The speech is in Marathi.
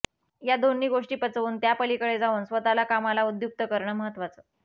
या दोन्ही गोष्टी पचवून त्यापलीकडे जाऊन स्वतःला कामाला उद्युक्त करणं महत्त्वाचं